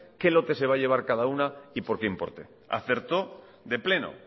qué lote se va a llevar cada una y por qué importe acertó de pleno